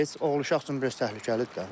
Heç oğul uşaq üçün biraz təhlükəlidir də.